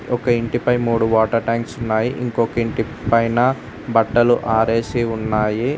ఒక్క ఇంటిపై మూడు వాటర్ ట్యాంక్స్ ఉన్నాయి ఇంకొకటి పైన బట్టలు ఆరేసి ఉన్నాయి.